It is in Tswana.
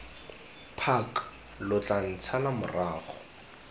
park lo tla ntshala morago